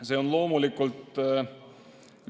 See on loomulikult